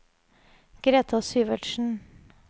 Greta Syvertsen